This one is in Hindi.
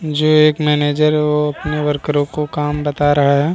जो एक मैनेजर है वो अपने वर्करों को काम बता रहा है |